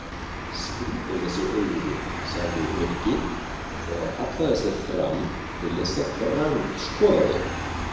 Skrýtin þessi augu þín sagði Nikki og hallaði sér fram til þess að grandskoða þau.